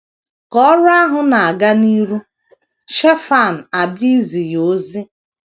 Ka ọrụ ahụ na - aga n’ihu, Shefan abịa izi ya ozi.